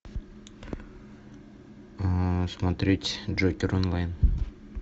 смотреть джокер онлайн